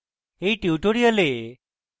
in tutorial আমি একটি